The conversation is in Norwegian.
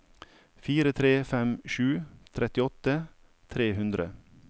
fire tre fem sju trettiåtte tre hundre